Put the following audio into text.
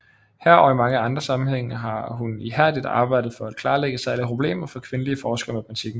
Her og i mange andre sammenhænge har hun ihærdigt arbejdet for at klarlægge særlige problemer for kvindelige forskere i matematikken